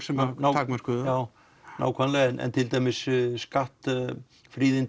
sem takmörkuðu það nákvæmlega en til dæmis